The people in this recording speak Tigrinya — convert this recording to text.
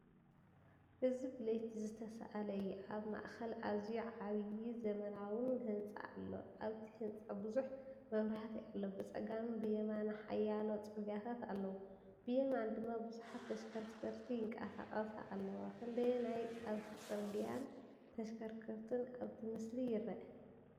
እዚ ብለይቲ ዝተሳእለ እዩ። ኣብ ማእከል ኣዝዩ ዓቢን ዘመናዊን ህንጻ ኣሎ። ኣብቲ ህንጻ ብዙሕ መብራህቲ ኣሎ። ብጸጋምን የማንን ሓያሎ ጽርግያታት ኣለዉ፤ ብየማን ድማ ብዙሓት ተሽከርከርቲ ይንቀሳቐሳ ኣለዋ። ክንደየናይ ካብቲ ጽርግያን ተሽከርከርትን ኣብቲ ምስሊ ይርአ ?